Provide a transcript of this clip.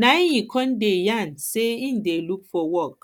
na im e con dey yarn sey im dey look for work